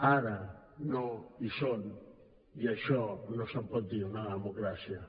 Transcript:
ara no hi són i d’això no se’n pot dir una democràcia